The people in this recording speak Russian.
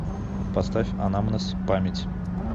поставь анамнез память